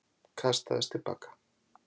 Kastaðist til baka.